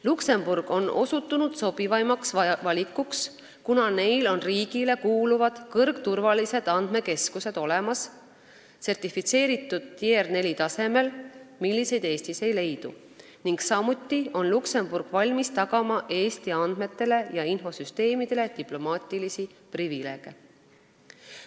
Luksemburg on osutunud sobivaimaks valikuks, kuna neil on olemas riigile kuuluvad kõrgturvalised andmekeskused, mis on sertifitseeritud Tier 4 tasemel , ning samuti on Luksemburg valmis tagama Eesti andmetele ja infosüsteemidele diplomaatilisi privileege.